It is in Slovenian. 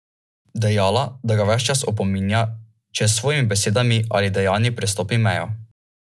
Do zdaj je gostil štiri finale pokala državnih prvakov in štiri v pokalu pokalnih zmagovalcev.